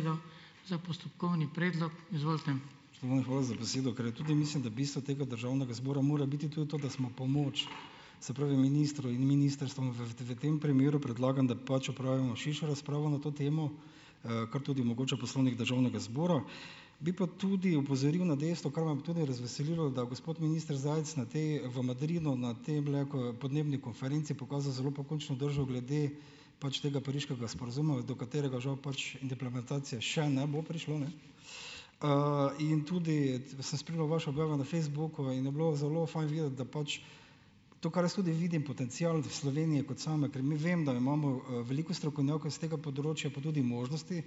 Spoštovani, hvala za besedo. Ker je tudi, mislim da, bistvo tega državnega zbora mora biti tudi to, da smo pomoč, se pravi, ministru in ministrstvom, v tem primeru predlagam, da pač opravimo širšo razpravo na to temo, kar tudi omogoča Poslovnik Državnega zbora. Bi pa tudi opozoril na dejstvo, kar me pa tudi razveselilo, da gospod minister Zajc na te, v Madridu, na temle, podnebni konferenci, pokazal zelo pokončno držo glede, tega Pariškega sporazuma, do katerega žal, implementacije še ne bo prišlo, in tudi, sem spremljal vaše objave na Facebooku in je bilo zelo fajn videti, da pač, to, kar jaz tudi vidim potencial v Sloveniji, kot same, ker mi, vem, da imamo, veliko strokovnjakov iz tega področja, pa tudi možnosti,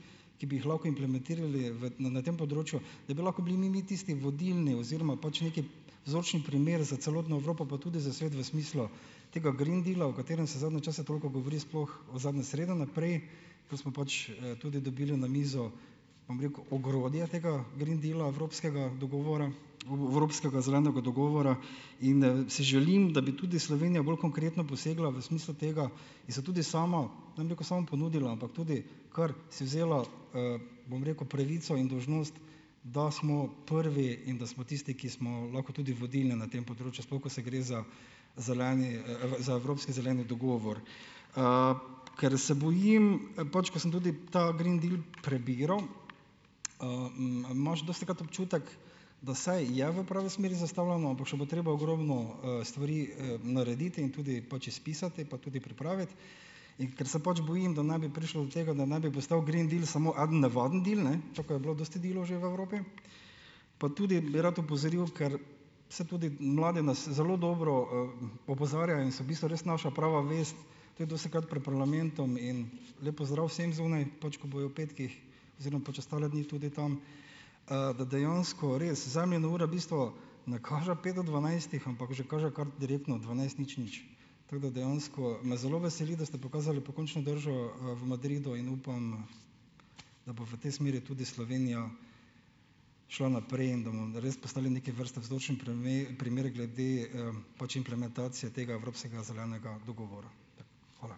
ki bi jih lahko implementirali v na na tem področju, da bi lahko bili mi mi tisti vodilni oziroma pač neki vzorčni primer za celotno Evropo, pa tudi za svet, v smislu tega green deala, o katerem se zadnje čase toliko govori, sploh od zadnje srede naprej, ko smo pač, tudi dobili na mizo, bom rekel, ogrodje tega green deala, evropskega dogovora, evropskega zelenega dogovora, in, si želim, da bi tudi Slovenija bolj konkretno posegla v smislu tega in se tudi sama, ne bom rekel, sama ponudila, ampak tudi kar si vzela, bom rekel, pravico in dolžnost, da smo prvi in da smo tisti, ki smo lahko tudi vodilni na tem področju, sploh ko se gre za zeleni, za evropski zeleni dogovor. ker se bojim, pač, ko sem tudi ta green deal prebiral, imaš dostikrat občutek, da saj je v pravi smeri zastavljeno, ampak še bo treba ogromno, stvari, narediti in tudi pač izpisati pa tudi pripraviti. In ker se pač bojim, da naj bi prišlo do tega, da naj bi postal green deal samo eden navaden deal, tako kot je bilo dosti dealov že v Evropi, pa tudi bi rad opozoril, ker saj tudi mladi nas zelo dobro, opozarjajo in so v bistvu res naša prava vest, tudi dostikrat prej parlamentom in lep pozdrav vsem zunaj, pač ko bojo ob petkih oziroma pač ostale dni tudi tam, da dejansko res Zemljina ura bistvo ne kaže pet do dvanajstih, ampak že kaže kar direktno dvanajst nič nič. Tako da dejansko me zelo veseli, da ste pokazali pokončno držo, v Madridu in upam, da bo v tej smeri tudi Slovenija šla naprej in da bomo res postali neke vrste vzročni primer glede, pač implementacije tega evropskega zelenega dogovora. Hvala.